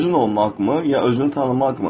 Özün olmaqmı ya özünü tanımaqmı?